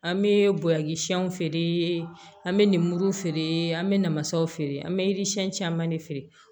An bɛ buyaki siyɛnw feere an bɛ ninmuruw feere an bɛ namasaw feere an bɛ caman de feere